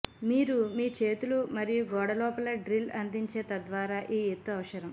మీరు మీ చేతులు మరియు గోడ లోపల డ్రిల్ అందించే తద్వారా ఈ ఎత్తు అవసరం